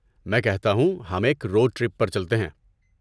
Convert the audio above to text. میں کہتا ہوں، ہم ایک روڈ ٹرپ پر چلتے ہیں۔